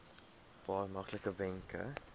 paar maklike wenke